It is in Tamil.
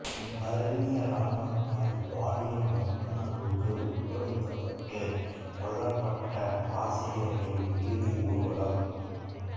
பர்மிய இராணுவத்தால் பாலியல் வன்புணர்வுக்கு உட்படுத்தப்பட்டு கொல்லப்பட்ட ஆசிரியர்களின் இறுதி ஊர்வலம்